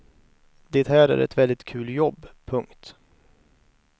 Det här är ett väldigt kul jobb. punkt